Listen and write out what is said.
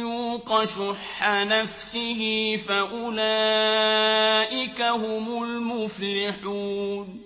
يُوقَ شُحَّ نَفْسِهِ فَأُولَٰئِكَ هُمُ الْمُفْلِحُونَ